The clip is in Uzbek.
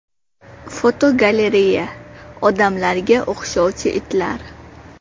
Fotogalereya: Odamlarga o‘xshovchi itlar.